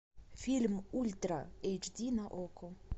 фильм ультра эйч ди на окко